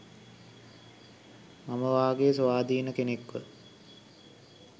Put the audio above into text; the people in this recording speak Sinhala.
මම වගේ ස්වාධීන කෙනෙක්ව